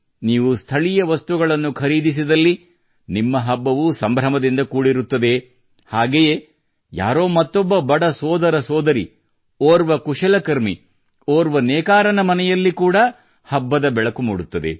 ನೀವು ಸ್ಥಳೀಯ ವಸ್ತುಗಳನ್ನು ಖರೀದಿಸಿದಲ್ಲಿ ನಿಮ್ಮ ಹಬ್ಬವು ಸಂಭ್ರಮದಿಂದ ಕೂಡಿರುತ್ತದೆ ಹಾಗೆಯೇ ಯಾರೋ ಒಬ್ಬ ಬಡ ಸೋದರ ಸೋದರಿ ಓರ್ವ ಕುಶಲಕರ್ಮಿ ಓರ್ವ ನೇಕಾರನ ಮನೆಯಲ್ಲಿ ಕೂಡಾ ಹಬ್ಬದ ಬೆಳಕು ಮೂಡುತ್ತದೆ